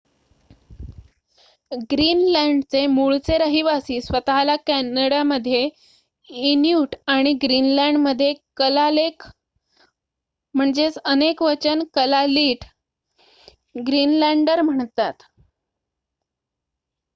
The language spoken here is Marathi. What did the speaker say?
ग्रीनलँडचे मूळचे रहिवासी स्वत:ला कॅनडामध्ये इन्यूट आणि ग्रीनलँडमध्ये कलालेक अनेकवचन कलालिट ग्रीनलँडर म्हणतात